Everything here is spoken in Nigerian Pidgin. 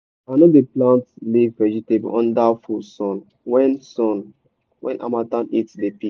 i no dey plant leaf vegetable under full sun when sun when harmattan heat don peak.